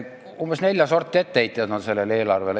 Mul on sellele eelarvele nelja sorti etteheiteid.